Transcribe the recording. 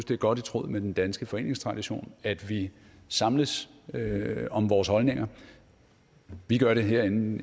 det er godt i tråd med den danske foreningstradition at vi samles om vores holdninger vi gør det herinde